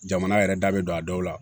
Jamana yɛrɛ da be don a daw la